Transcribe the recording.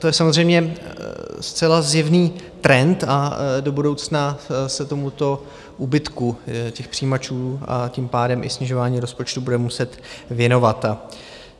To je samozřejmě zcela zjevný trend a do budoucna se tomuto úbytku těch přijímačů a tím pádem i snižování rozpočtu budeme muset věnovat.